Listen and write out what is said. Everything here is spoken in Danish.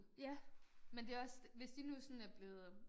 Ja men det også hvis de nu sådan er blevet øh